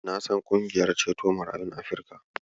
Na san ƙungiyar ceto marayun Afrika.